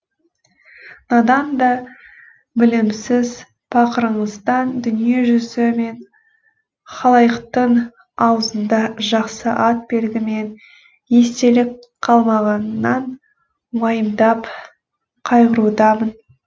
надан да білімсіз пақырыңыздан дүниежүзі мен халайықтың аузында жақсы ат белгі мен естелік қалмағанынан уайымдап қайғырудамын